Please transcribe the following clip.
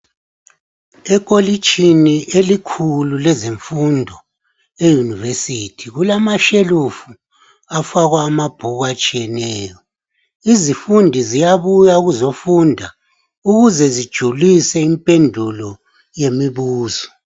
Ekholitshini elikhulu lezimfundo eUniversity, kumashelufu afakwa amabhuku atshiyeneyo. Izifundi ziyabuya ukuzofunda ukuze zijulise impendulo yemibuzo.